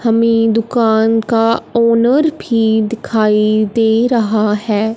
हमें दुकान का ओनर भी दिखाई दे रहा है।